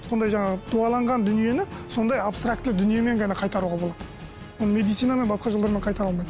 сондай жаңағы дуаланған дүниені сондай абстрактілі дүниемен ғана қайтаруға болады оны медицинамен басқа жолдармен қайтара алмайды